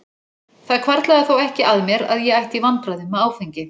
Það hvarflaði þó ekki að mér að ég ætti í vandræðum með áfengi.